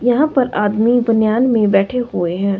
यहां पर आदमी बनियान में बैठे हुए हैं।